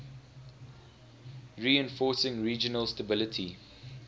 reinforcing regional stability